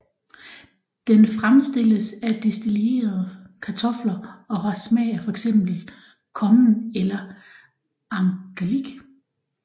Den fremstilles af destillerede kartofler og har smag af fx kommen eller angelik